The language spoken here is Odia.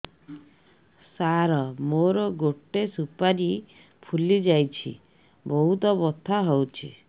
ସାର ମୋର ଗୋଟେ ସୁପାରୀ ଫୁଲିଯାଇଛି ବହୁତ ବଥା ହଉଛି